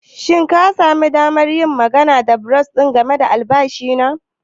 Shin ka sami damar yin magana da bursar game da albashi na?